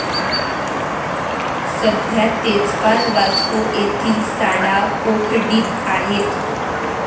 सध्या तेजपाल वास्को येथील साडा कोठडीत आहेत.